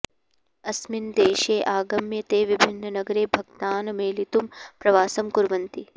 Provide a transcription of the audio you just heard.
अस्मिन् देशे आगम्य ते विभिन्ननगरे भक्तान् मेलितुं प्रवासं कुर्वन्ति